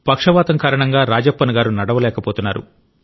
పక్షవాతం కారణంగా రాజప్పన్ గారు నడవలేకపోతున్నారు